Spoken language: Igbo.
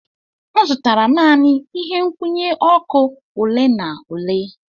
M zụtara naanị ihe nkwụnye ọkụ ole na ole.